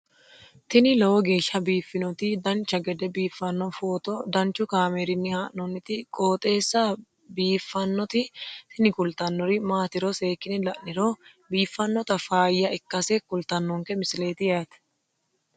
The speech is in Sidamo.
tini lowo geeshsha biiffannoti dancha gede biiffanno footo danchu kaameerinni haa'noonniti qooxeessa biiffannoti tini kultannori maatiro seekkine la'niro biiffannota faayya ikkase kultannoke misileeti yaate